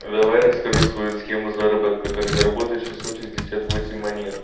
давай расскажу свою схему заработок как заработать шесот шестьдесят восемь монет